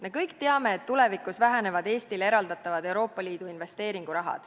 Me kõik teame, et tulevikus väheneb Eestile eraldatav Euroopa Liidu investeeringuraha.